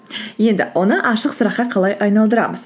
енді оны ашық сұраққа қалай айналдырамыз